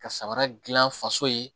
Ka samara dilan faso ye